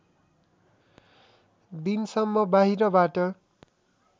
दिनसम्म बाहिरबाट